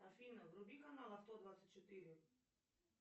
афина вруби канал авто двадцать четыре